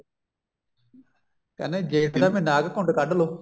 ਕਹਿੰਦਾ ਜੇਠ ਦਾ ਮਹੀਨਾ ਆ ਗਿਆ ਘੁੰਡ ਕੱਡਲੋ